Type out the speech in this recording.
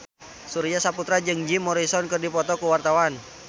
Surya Saputra jeung Jim Morrison keur dipoto ku wartawan